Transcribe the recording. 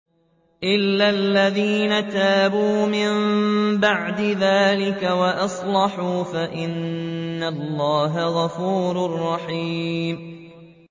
إِلَّا الَّذِينَ تَابُوا مِن بَعْدِ ذَٰلِكَ وَأَصْلَحُوا فَإِنَّ اللَّهَ غَفُورٌ رَّحِيمٌ